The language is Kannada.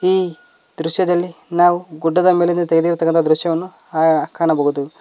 ಈ ದೃಶ್ಯದಲ್ಲಿ ನಾವು ಗುಡ್ಡದ ಮೇಲಿಂದ ತೆಗೆದಿರುತಕ್ಕಂತ ದೃಶ್ಯವನ್ನು ನಾವು ಕಾಣಬಹುದು.